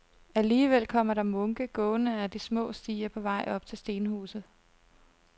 Alligevel kommer der munke gående ad de små stier på vej op til stenhuset.